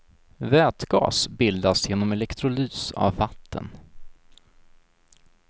Vätgas bildas genom elektrolys av vatten.